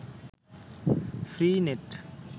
free net